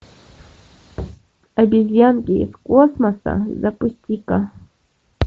обезьянки из космоса запусти ка